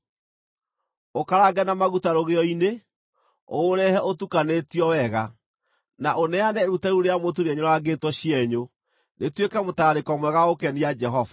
Ũũkarange na maguta rũgĩo-inĩ; ũũrehe ũtukanĩtio wega, na ũneane iruta rĩu rĩa mũtu rĩenyũrangĩtwo cienyũ, rĩtuĩke mũtararĩko mwega wa gũkenia Jehova.